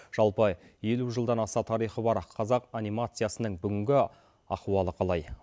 жалпы елу жылдан аса тарихы бар қазақ анимациясының бүгінгі ахуалы қалай